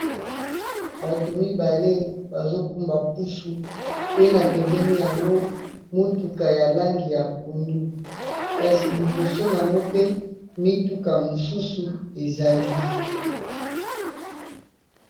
Bato mibale bazo kumba pusu pe na pembeni yango motuka ya langi ya pondu, kasi liboso nango pe mituka mosusu ezali.